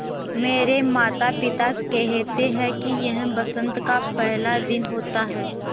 मेरे माता पिता केहेते है कि यह बसंत का पेहला दिन होता हैँ